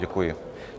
Děkuji.